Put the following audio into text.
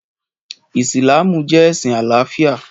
Ìsìlámù jẹ́ ẹ̀sìn àlàáfíà